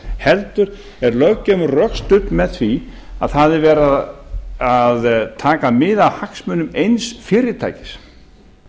heldur er löggjöfin rökstudd með því að það er verið að taka mið af hagsmunum eins fyrirtækis